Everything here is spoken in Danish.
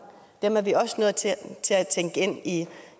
dem er vi også nødt til at tænke ind